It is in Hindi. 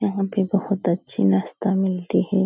यहाँ पे बहुत अच्छी नाश्ता मिलती है।